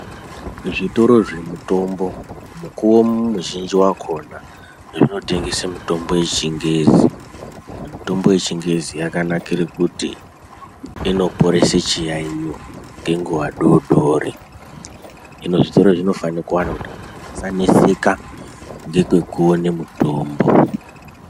zvitoro zvemutombo mukuwo muzhinji wakona zvinotengese mutombo yechingezi. Mutombo yechingezi yakanakire kuti inoporese chiyaiyo ngenguwa doodori. Hino zvitoro zvinofane kuwanda kuti vantu vasaneseka ngekwekuone mutombo.